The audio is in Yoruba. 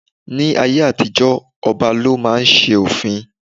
Ní ayé àtijó ọba lọ máa ń ṣe òfin.